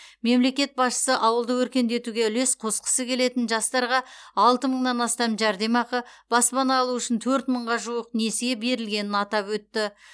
мемлекет басшысы ауылды өркендетуге үлес қосқысы келетін жастарға алты мыңнан астам жәрдемақы баспана алу үшін төрт мыңға жуық несие берілгенін атап өтті